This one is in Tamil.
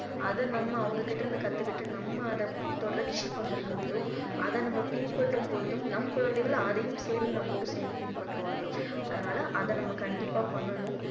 அதை நம்ம அவங்க கிட்ட இருந்து கத்துக்கிட்டு நம்ம அதை தொடர்ச்சி பண்ணும்பொழுது அதை நம்ம பின்பற்றும் பொழுதும் நம் குழந்தைகள் அதையும் சேர்ந்து நம்மோடு சேர்ந்து பிந்ற்றுவார்கள் அதனால அதை நம்ம கண்டிப்பா பண்ணணும்